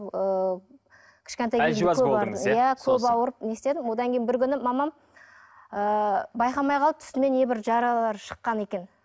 ыыы иә көп ауырып не істедім одан кейін бір күні мамам ыыы байқамай қалды үстіме небір жаралар шыққан екен